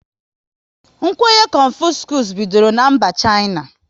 Kwenye Confuscus bidoro na mba Shaina